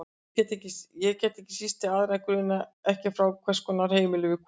Það var ekki síst til að aðra grunaði ekki frá hvers konar heimili við komum.